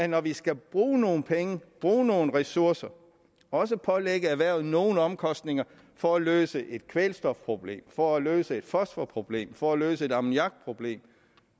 når vi skal bruge nogle penge bruge nogle ressourcer også pålægger erhvervet nogle omkostninger for at løse et kvælstofproblem for at løse et fosforproblem og for at løse et ammoniakproblem